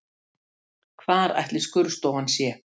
Hvar ætli skurðstofan sé?